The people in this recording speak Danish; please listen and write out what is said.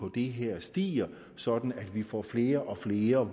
det her stiger sådan at vi får flere og flere